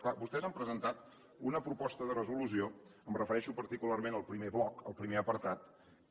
clar vostès han presentat una proposta de resolució em refereixo particularment al primer bloc al primer apartat que